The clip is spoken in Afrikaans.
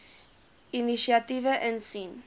inisiatiewe insien